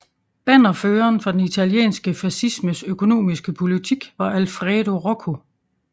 Bannerføren for den italienske fascismes økonomiske politik var Alfredo Rocco